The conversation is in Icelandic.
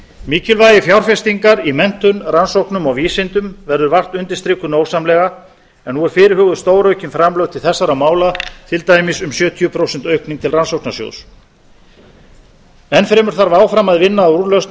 mikilvægi fjárfestingar í menntun rannsóknum og vísindum verður vart undirstrikuð nógsamlega en nú eru fyrirhuguð stóraukin framlög til þessara mála til dæmis um sjötíu prósent aukning til rannsóknasjóðs enn fremur þarf áfram að vinna að úrlausn á